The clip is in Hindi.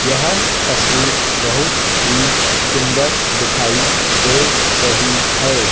यह तस्वीर बहुत ही सुंदर दिखाई दे रही है।